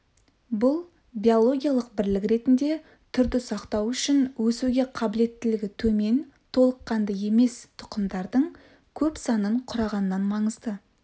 бұл биологиялық бірлік ретінде түрді сақтау үшін өсуге қабілеттілігі төмен толыққанды емес тұқымдардың көп санын құрағаннан маңызды